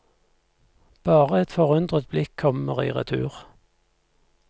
Bare et forundret blikk kommer i retur.